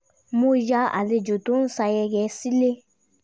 mo yà àlejò tó ń ṣayẹyẹ sílẹ̀